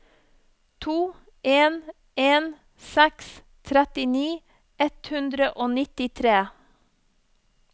to en en seks trettini ett hundre og nittitre